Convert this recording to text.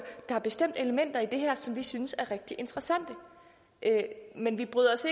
der bestemt elementer i det her som vi synes er rigtig interessante men vi bryder os